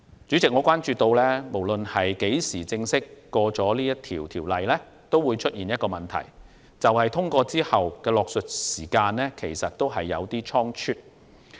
主席，我關注到《條例草案》無論何時正式獲得通過，仍有一個問題，就是《條例草案》獲得通過後的落實時間有點倉卒。